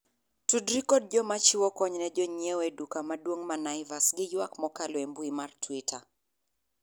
tudri kod joma chiwo kony ne jonyiewo e duka mauong' ma naivas gi ywak mokalo e mbui mar twita